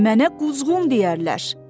Mənə quzğun deyərlər.